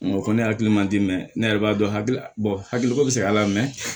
N ko ko ne hakili man di mɛn ne yɛrɛ b'a dɔn hakili hakiliko bɛ se a la